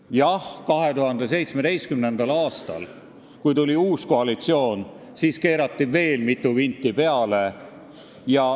Kuid jah, 2017. aastal, kui tuli uus koalitsioon, keerati veel mitu vinti peale.